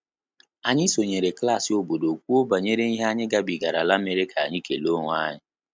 Anyị sonyere klassị obodo kwuo banyere ihe anyị gabigara la mere ka anyị kele onwe anyị